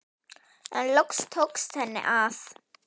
En loks tókst henni að.